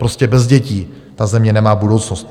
Prostě bez dětí ta země nemá budoucnost.